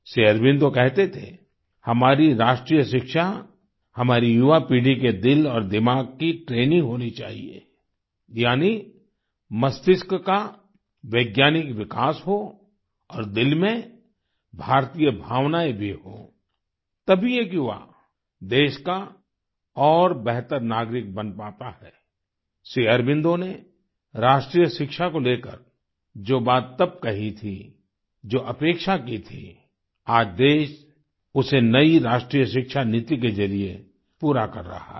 श्री अरबिंदो कहते थे हमारी राष्ट्रीय शिक्षा हमारी युवा पीढ़ी के दिल और दिमाग की ट्रेनिंग होनी चाहिये यानि मस्तिष्क का वैज्ञानिक विकास हो और दिल में भारतीय भावनाएं भी हों तभी एक युवा देश का और बेहतर नागरिक बन पाता है श्री अरबिंदो ने राष्ट्रीय शिक्षा को लेकर जो बात तब कही थी जो अपेक्षा की थी आज देश उसे नई राष्ट्रीय शिक्षा नीति के जरिए पूरा कर रहा है